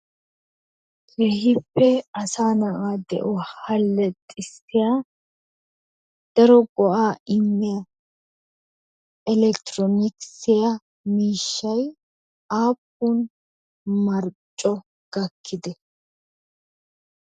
Keehippe asaa na'aa de'uwa hallaxissiya daro go'aa immiya elekitiroonikisiya miishshay aappun marcco gakkidee?